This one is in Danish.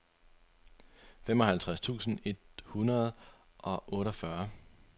femoghalvtreds tusind et hundrede og otteogfyrre